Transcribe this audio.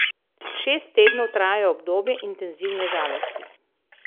Šest tednov traja obdobje intenzivne žalosti.